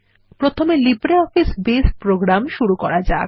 প্রথমে LibreOffice Base program শুরু করা যাক